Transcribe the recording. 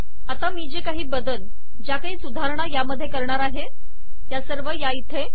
आता मी जे काही बदल ज्या काही सुधारणा या मध्ये करणार आहे त्या सर्व इथे